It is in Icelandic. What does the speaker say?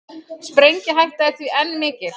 Sprengihætta er því enn mikil